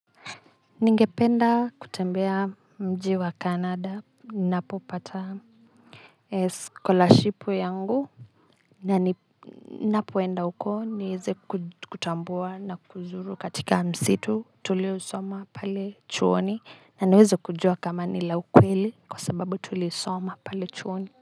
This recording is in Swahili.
Ningependa kutembea mji wa canada nina po pata scholarship yangu na ni na poenda uko niweze kutambua na kuzuru katika msitu tuliousoma pale chuoni na niweze kujua kama ni la ukweli kwa sababu tulisoma pale chuoni.